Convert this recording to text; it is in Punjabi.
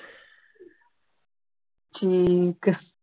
ਠੀਕ ਹੈ